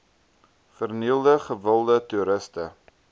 vernielde gewilde toeriste